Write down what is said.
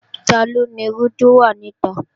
Taló nirú tó wà nita?